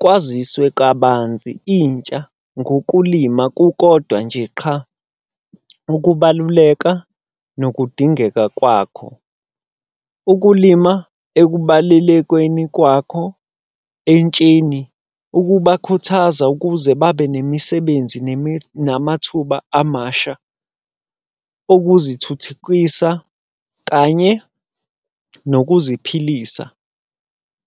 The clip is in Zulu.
kwaziswe kabanzi intsha ngokulima kukodwa nje qha ukubaluleka nokudingeka kwakho. Ukulima ekubalelekweni kwakho entsheni, ukubakhuthaza ukuze babe nemisebenzi namathuba amasha okuzithuthukisa kanye nokuziphilisa.